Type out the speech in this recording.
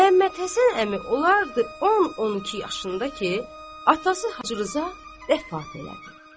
Məhəmməd Həsən əmi olardı 10-12 yaşında ki, atası Hacı Rza rəhmət elədi.